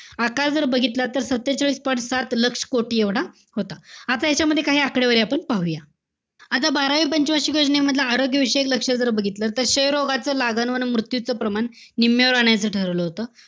आकार जर बघितला तर सत्तेचाळीस point सात लक्ष कोटी एवढा होता. आता यांच्यामध्ये काही आकडेवारी आपण पाहूया. आता बारावी पंचवार्षिक योजनेमधला आरोग्यविषयक लक्ष्य जर बघितलं तर क्षयरोगाचा लागण व मृत्यूचं प्रमाण निम्म्यावर आणायचं ठरवलं होतं.